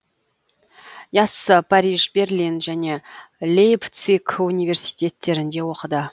яссы париж берлин және лейпциг университеттерінде оқыды